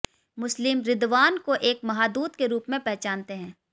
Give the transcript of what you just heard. मुस्लिम रिदवान को एक महादूत के रूप में पहचानते हैं